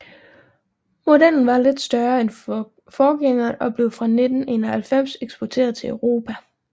Modellen var lidt større end forgængeren og blev fra 1991 eksporteret til Europa